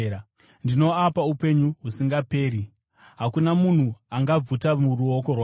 Ndinoapa upenyu husingaperi, uye haatongofi; hakuna munhu angaabvuta muruoko rwangu.